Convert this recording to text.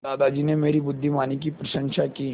दादाजी ने मेरी बुद्धिमानी की प्रशंसा की